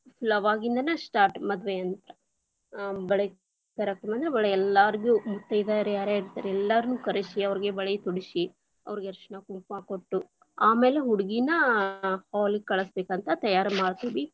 ಅಲ್ಲ್ ಆವಾಗ್ಲಿಂದನ start lang:Foreign ಮದ್ವೇ ಅಂತ, ಆ ಬಳೆ ತರಾಕ್ ಅಂದ್ರೆ ಬಳೇ ಎಲ್ಲಾಗು೯ ಮುತ್ತೈದೆಯಾರ್ ಯಾರ್ಯಾರ ಇರ್ತಾರೆ ಎಲ್ಲಾರ್ನು ಕರೆಸಿ, ಅವ್ರೀಗೆ ಬಳೆ ತೊಡಿಸಿ, ಅವರ್ಗೆ ಅರಿಶಿಣ ಕುಂಕುಮ ಕೊಟ್ಟು ಆಮೇಲೆ ಹುಡ್ಗಿನ hall lang:Foreign ಗ ಕಳಿಸ್ಬೇಕಂತ ತಯಾರ್ ಮಾಡ್ತೀವಿರಿ.